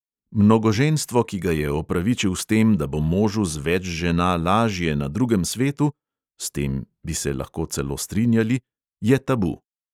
Mnogoženstvo, ki ga je opravičil s tem, da bo možu z več žena lažje na drugem svetu (s tem bi se lahko celo strinjali), je tabu.